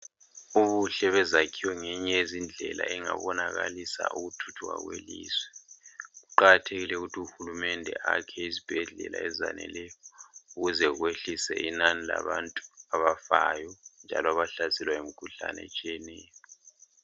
Ubuhle bezakhiwo ngeyinye yezindlela engabonakalisa ukuthuthuka kwelizwe kuqakathekile ukuthi uhulumende akhe izibhedlela azaneleyo ukuze kwehliswe inani labantu abafayo njalo abahlaselwa yimikhuhlane etshiyeneyo.